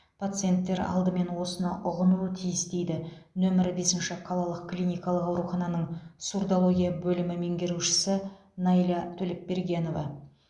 пациенттер алдымен осыны ұғынуы тиіс дейді нөмірі бесінші қалалық клиникалық аурухананың сурдология бөлімі меңгерушісі найля төлепбергенова